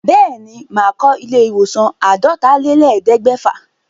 Bẹ́ẹ̀ ní, màá kọ ilé ìwòsàn àádọ́talélẹ̀ẹ́dẹ́gbẹ̀fà.